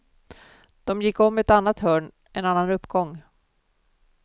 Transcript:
De gick om ett annat hörn, en annan uppgång.